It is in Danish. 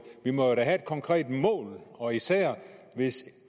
vi må da have et konkret mål og især hvis